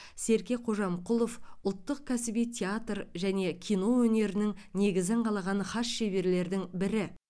серке кожамқұлов ұлттық кәсіби театр және кино өнерінің негізін қалаған хас шеберлердің бірі